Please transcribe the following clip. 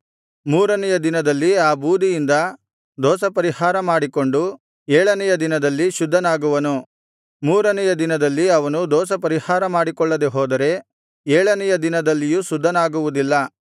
ಮೂರನೆಯ ದಿನದಲ್ಲಿ ಆ ಬೂದಿಯಿಂದ ದೋಷಪರಿಹಾರ ಮಾಡಿಕೊಂಡು ಏಳನೆಯ ದಿನದಲ್ಲಿ ಶುದ್ಧನಾಗುವನು ಮೂರನೆಯ ದಿನದಲ್ಲಿ ಅವನು ದೋಷಪರಿಹಾರ ಮಾಡಿಕೊಳ್ಳದೆ ಹೋದರೆ ಏಳನೆಯ ದಿನದಲ್ಲಿಯೂ ಶುದ್ಧನಾಗುವುದಿಲ್ಲ